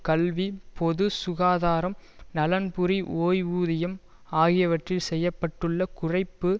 கல்வி பொது சுகாதாரம் நலன்புரி ஓய்வூதியம் ஆகியவிற்றில் செய்ய பட்டுள்ள குறைப்பு